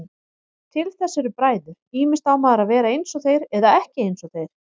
Til þess eru bræður, ýmist á maður að vera einsog þeir eða ekki einsog þeir.